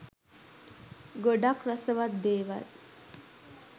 ගොඩක් රසවත් දේවල්